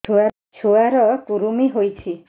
ଛୁଆ ର କୁରୁମି ହୋଇଛି